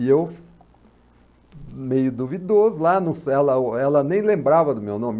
E eu, meio duvidoso, ah, ela ela nem lembrava do meu nome.